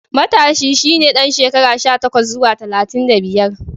Matashi shi ne ɗan shekara sha takwas zuwa talatin da biyar.